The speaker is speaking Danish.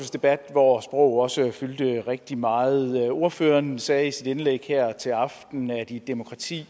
hvor sprog også fyldte rigtig meget ordføreren sagde i sit indlæg her til aften at i et demokrati